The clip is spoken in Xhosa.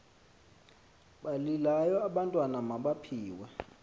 balilayo abantwana mabaphiwe